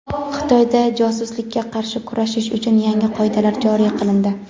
Xitoyda josuslikka qarshi kurashish uchun yangi qoidalar joriy qilindi.